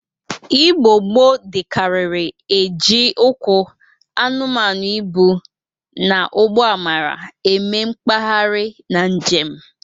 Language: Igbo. Igbo gboo dịkarịrị e ji ụkwụ, anụmanụ ịbụ, na ụgbọ amara eme mgbaharị na njem